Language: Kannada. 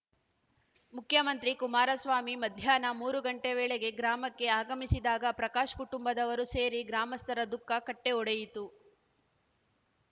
ಮುಖ್ಯಮಂತ್ರಿ ಕುಮಾರಸ್ವಾಮಿ ಮಧ್ಯಾಹ್ನ ಮೂರು ಗಂಟೆ ವೇಳೆಗೆ ಗ್ರಾಮಕ್ಕೆ ಆಗಮಿಸಿದಾಗ ಪ್ರಕಾಶ್‌ ಕುಟುಂಬದವರೂ ಸೇರಿ ಗ್ರಾಮಸ್ಥರ ದುಃಖ ಕಟ್ಟೆಒಡೆಯಿತು